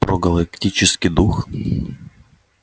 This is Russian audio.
про галактический дух